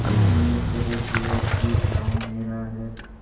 मैंने कह दिया कि गॉँव मेरा है